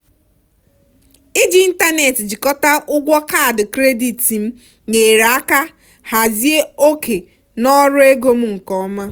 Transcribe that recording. iji ịntanetị jikọta ụgwọ kaadị kredit m nyere aka hazie oke n'ọrụ ego m nke ọma.